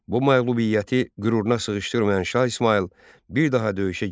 Bu məğlubiyyəti qüruruna sığışdırmayan Şah İsmayıl bir daha döyüşə girmir.